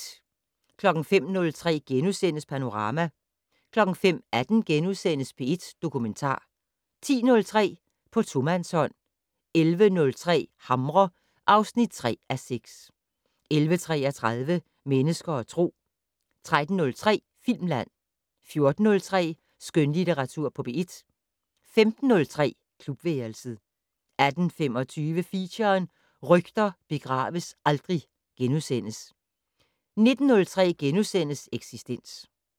05:03: Panorama * 05:18: P1 Dokumentar * 10:03: På tomandshånd 11:03: Hamre (3:6) 11:33: Mennesker og Tro 13:03: Filmland 14:03: Skønlitteratur på P1 15:03: Klubværelset 18:25: Feature: Rygter begraves aldrig * 19:03: Eksistens *